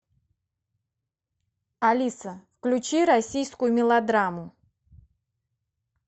алиса включи российскую мелодраму